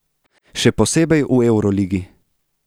Še posebej v evroligi.